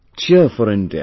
Cheer4India